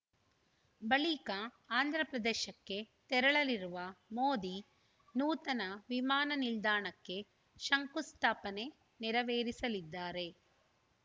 ಬಳಿಕ ಆಂಧ್ರ ಪ್ರದೇಶಕ್ಕೆ ತೆರಳಲಿರುವ ಮೋದಿ ನೂತನ ವಿಮಾನ ನಿಲ್ದಾಣಕ್ಕೆ ಶಂಕುಸ್ಥಾಪನೆ ನೆರವೇರಿಸಲಿದ್ದಾರೆ